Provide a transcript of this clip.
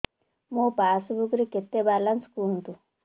ମୋ ପାସବୁକ୍ ରେ କେତେ ବାଲାନ୍ସ କୁହନ୍ତୁ